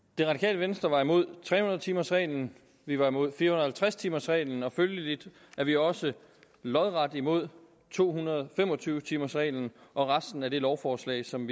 det radikale venstre var imod tre hundrede timers reglen vi var imod fire hundrede og halvtreds timers reglen og følgelig er vi også lodret imod to hundrede og fem og tyve timers reglen og resten af det lovforslag som